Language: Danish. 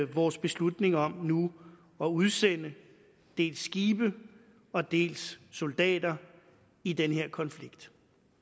vores beslutning om nu at udsende dels skibe dels soldater i den her konflikt